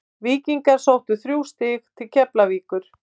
Víkingar sóttu þrjú stig til Keflavíkur.